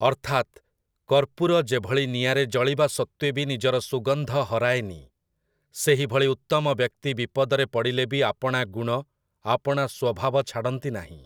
ଅର୍ଥାତ୍, କର୍ପୂର ଯେଭଳି ନିଆଁରେ ଜଳିବା ସତ୍ୱେ ବି ନିଜର ସୁଗନ୍ଧ ହରାଏନି, ସେହିଭଳି ଉତ୍ତମ ବ୍ୟକ୍ତି ବିପଦରେ ପଡ଼ିଲେ ବି ଆପଣା ଗୁଣ, ଆପଣା ସ୍ୱଭାବ ଛାଡ଼ନ୍ତି ନାହିଁ ।